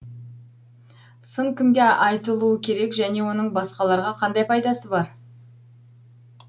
сын кімге айтылуы керек және оның басқаларға қандай пайдасы бар